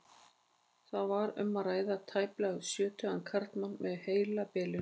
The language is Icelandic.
Þar var um að ræða tæplega sjötugan karlmann með heilabilun.